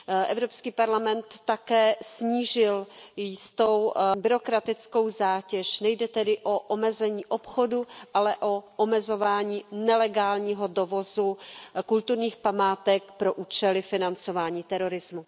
Evropský parlament také snížil jistou byrokratickou zátěž, nejde tedy o omezení obchodu, ale o omezování nelegálního dovozu kulturních památek pro účely financování terorismu.